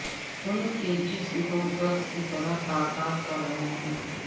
ان کے جسم کو گدھ کی طرح تار تار کر رہے ہیں